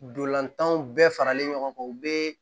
Ndolantanw bɛɛ faralen ɲɔgɔn kan u be